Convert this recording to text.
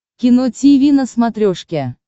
кино тиви на смотрешке